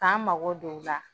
K'an mago don o la.